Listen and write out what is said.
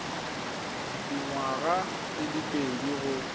dingwaga di le pedi go